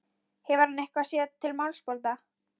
Hefur hann eitthvað sér til málsbóta?